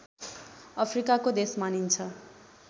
अफ्रिकाको देश मानिन्छ